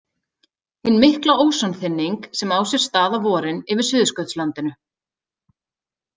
Hin mikla ósonþynning sem á sér stað á vorin yfir Suðurskautslandinu.